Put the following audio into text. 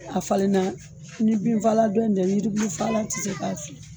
A falenna ni binfaala dɔ in tɛ yiri bulu faalan te se k'a fili